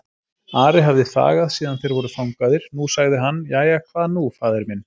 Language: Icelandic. Ari hafði þagað síðan þeir voru fangaðir, nú sagði hann:-Jæja, hvað nú faðir minn?